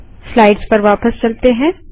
slides पर वापस चलते हैं